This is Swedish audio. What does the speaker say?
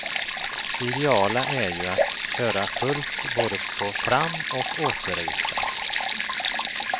Det ideala är ju att köra fullt både på fram och återresa.